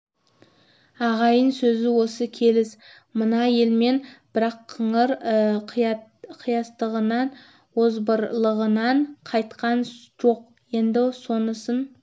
ағайын сөзі осы келіс мынау елмен бірақ қыңыр қиястығынан озбырлығынан кайтқан жоқ енді сонысын